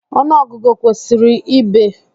Ọnụọgụgụ ọ kwụsịrị ebee?